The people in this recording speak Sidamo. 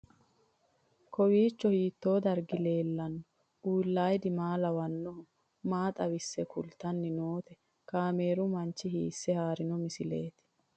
Kowiicho hiito dargi leellanni no ? ulayidi maa lawannoho ? maa xawisse kultanni noote ? kaameru manchi hiisse haarino misileeti?